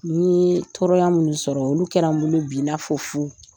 Ni ye tɔɔrɔya minnu sɔrɔ, olu kɛra n bolo bi, i n'a fɔ fu.